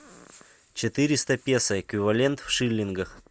четыреста песо эквивалент в шиллингах